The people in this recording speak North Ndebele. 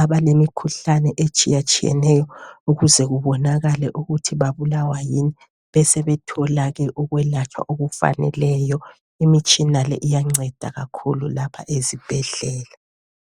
abalemikhuhlane etshiyatshiyeneyo ukuze kubonakale ukuthi babulawa yini besebetholake ukwelatshwa okufaneleyo. Imitshina le iyanceda kakhulu lapha ezibhedlela.